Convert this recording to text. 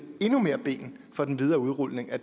endnu mere ben for den videre udrulning af